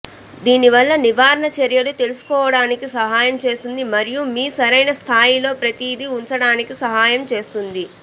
దీని వల్ల నివారణ చర్యలు తెలుసుకోవటానికి సహాయం చేస్తుంది మరియు మీరు సరైన స్థాయిల్లో ప్రతిదీ ఉంచడానికి సహాయం చేస్తుంది